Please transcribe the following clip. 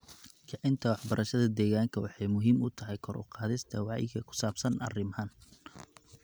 Kicinta waxbarashada deegaanka waxay muhiim u tahay kor u qaadista wacyiga ku saabsan arrimahan.